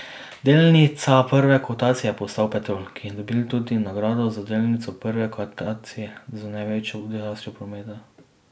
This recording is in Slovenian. Delnica prve kotacije je postal Petrol, ki je dobil tudi nagrado za delnico prve kotacije z največjo rastjo prometa.